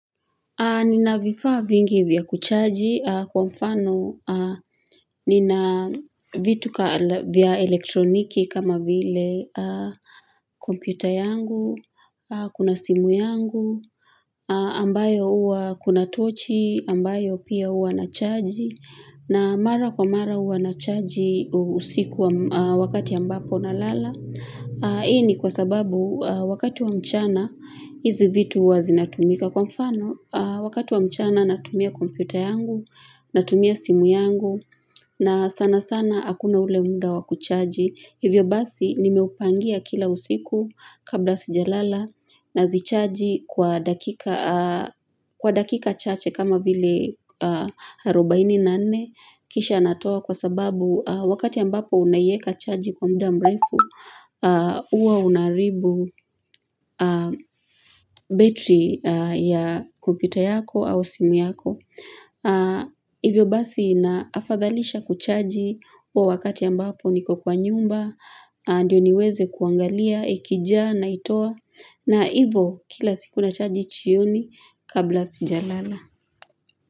Nina vifaa vingi vya kuchaji kwa mfano nina vitu vya elektroniki kama vile kompyuta yangu, kuna simu yangu, ambayo huwa kuna tochi, ambayo pia huwa nachaji, na mara kwa mara huwa nachaji usiku wakati ambapo nalala. Hii ni kwa sababu wakati wa mchana hizi vitu huwa zinatumika kwa mfano wakati wa mchana natumia kompyuta yangu natumia simu yangu na sana sana hakuna ule muda wa kuchaji hivyo basi nimeupangia kila usiku kabla sijalala nazichaji kwa dakika chache kama vile arobaini na nne kisha natoa kwa sababu wakati ambapo unaiweka chaji kwa muda mrefu huwa unaharibu betri ya kompyuta yako au simu yako hivyo basi naafadhalisha kuchaji huo wakati ambapo niko kwa nyumba ndio niweze kuangalia ikijaa naitoa na hivyo kila siku nachaji jioni kabla sijalala.